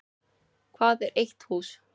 Hvað er eitt hús?